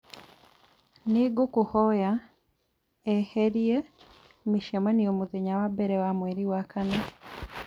nĩ ngũkũhoya eherie mĩcemanio mũthenya wa mbere wa mweri wa kana.